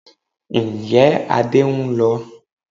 Ǹjẹ́ Adé ń lọ?